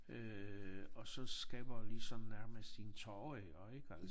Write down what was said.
Øh og så skaber ligesom nærmest en tåre i øje ik altså